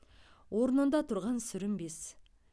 орнында тұрған сүрінбес